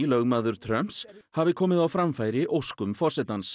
lögmaður Trumps hafi komið á framfæri óskum forsetans